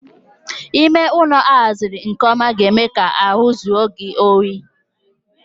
Ime ụlọ a haziri nke ọma ga-eme ka ahu jue gị oyi